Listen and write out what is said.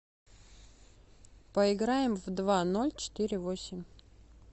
поиграем в два ноль четыре восемь